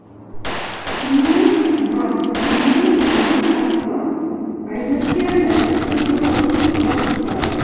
не двадцать и не в отца а изначально это все было в вотсапе